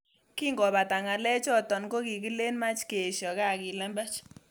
Kingobata ngalechoto kokikilen mach keesho kaa kilembech